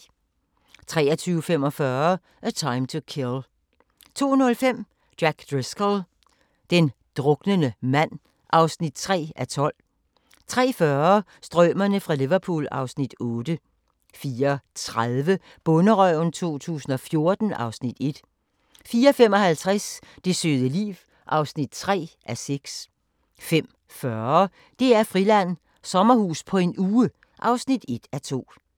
23:45: A Time to Kill 02:05: Jack Driscoll – den druknende mand (3:12) 03:40: Strømerne fra Liverpool (Afs. 8) 04:30: Bonderøven 2014 (Afs. 1) 04:55: Det søde liv (3:6) 05:40: DR-Friland: Sommerhus på en uge (1:2)